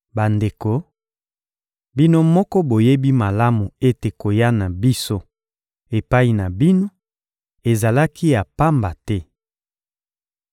Bandeko, bino moko boyebi malamu ete koya na biso epai na bino ezalaki ya pamba te.